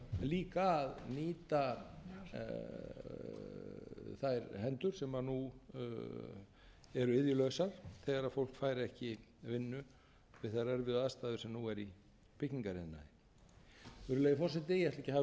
líka að nýta þær hendur sem nú eru iðjulausar þegar fólk fær ekki vinnu við þær erfiðu aðstæður sem nú eru í byggingariðnaði virðulegi forseti ég ætla ekki að hafa um þetta